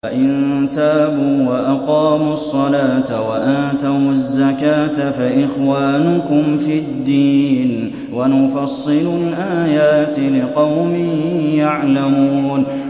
فَإِن تَابُوا وَأَقَامُوا الصَّلَاةَ وَآتَوُا الزَّكَاةَ فَإِخْوَانُكُمْ فِي الدِّينِ ۗ وَنُفَصِّلُ الْآيَاتِ لِقَوْمٍ يَعْلَمُونَ